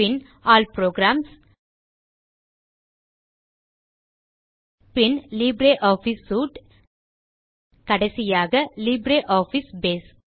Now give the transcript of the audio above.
பின் all programs பின் LibreOffice suite கடைசியாக LibreOffice base